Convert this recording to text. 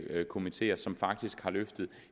komiteer som faktisk har løftet